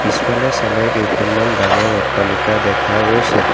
পিছফালে চালে কেইখনমান ডাঙৰ অট্টালিকা দেখা গৈছে।